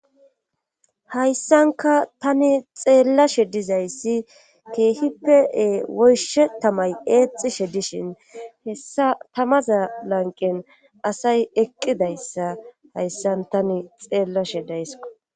Hayssanka tani xeellashe dizayssi keehippe woyshe tamay eexishe dishin hessa tamaza lanqen asay eqqidayssa hayssan tani xeellashe daysko.